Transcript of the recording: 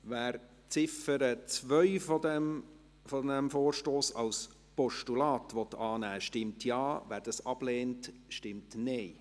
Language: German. Wer die Ziffer 2 dieses Vorstosses als Postulat annehmen will, stimmt Ja, wer dies ablehnt, stimmt Nein.